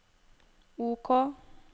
OK